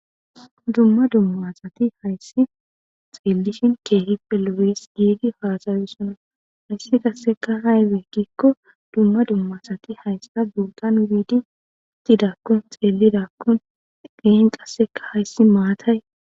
dumma dummasati hayssi xeellishin keehipe lowees giidi haasayo sona hayssi qasseka haywe giikko dumma dummasati hayssa gugqan wiidi itidakkun xeellidakkun dehen qasseka hayssi maatay